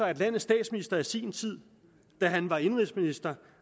at landets statsminister i sin tid da han var indenrigsminister